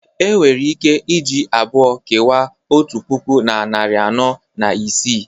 Enwere ike iji abụọ kewaa otu puku na narị anọ na isii